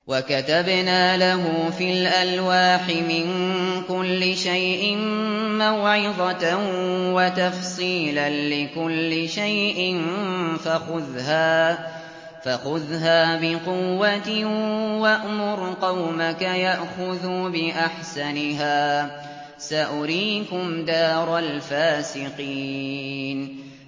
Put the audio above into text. وَكَتَبْنَا لَهُ فِي الْأَلْوَاحِ مِن كُلِّ شَيْءٍ مَّوْعِظَةً وَتَفْصِيلًا لِّكُلِّ شَيْءٍ فَخُذْهَا بِقُوَّةٍ وَأْمُرْ قَوْمَكَ يَأْخُذُوا بِأَحْسَنِهَا ۚ سَأُرِيكُمْ دَارَ الْفَاسِقِينَ